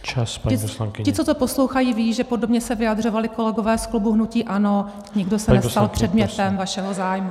Ti, co to poslouchají, vědí, že podobně se vyjadřovali kolegové z klubu hnutí ANO, nikdo se nestal předmětem vašeho zájmu.